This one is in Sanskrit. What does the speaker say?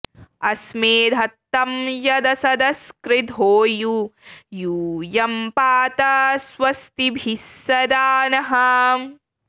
अ॒स्मे ध॑त्तं॒ यदस॒दस्कृ॑धोयु यू॒यं पा॑त स्व॒स्तिभिः॒ सदा॑ नः